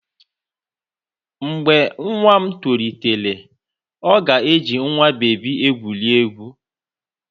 Mgbe nwa m tolitere, ọ ga-eji nwa bebi egwuri egwu.